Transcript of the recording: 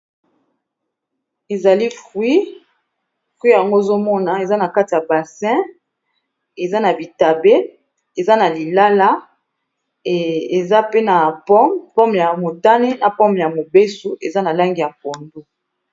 Ezali fruit. Fruit yango ozo mona eza na kati ya bassin eza na bitabe, eza na lilala, eza pe na pomme ya motane, na pomme ya mobeso, eza na langi ya pondu.